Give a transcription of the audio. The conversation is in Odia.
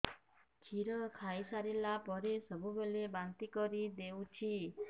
କ୍ଷୀର ଖାଇସାରିଲା ପରେ ସବୁବେଳେ ବାନ୍ତି କରିଦେଉଛି